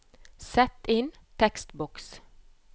Sett inn tekstboks